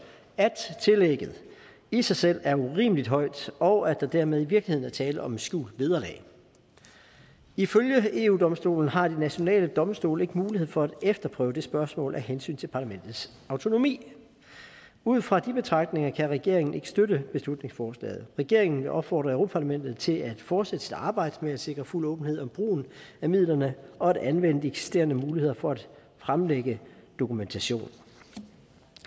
at tillægget i sig selv er urimelig højt og at der dermed i virkeligheden er tale om et skjult vederlag ifølge eu domstolen har de nationale domstole ikke mulighed for at efterprøve det spørgsmål af hensyn til parlamentets autonomi ud fra de betragtninger kan regeringen ikke støtte beslutningsforslaget regeringen vil opfordre europa parlamentet til at fortsætte sit arbejde med at sikre fuld åbenhed om brugen af midlerne og at anvende de eksisterende muligheder for at fremlægge dokumentation